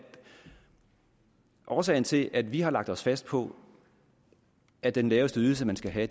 årsagen til at vi har lagt os fast på at den laveste ydelse man skal have